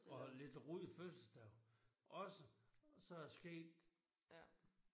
Og lidt runde fødselsdage også så er det sket